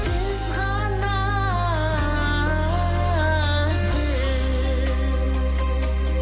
сіз ғана сіз